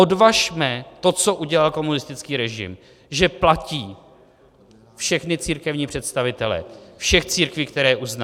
Odvažme to, co udělal komunistický režim, že platí všechny církevní představitele všech církví, které uzná.